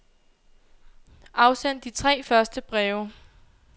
Afsend de tre første breve.